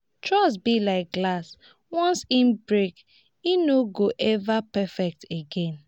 trust be like glass once e break e no go ever perfect again.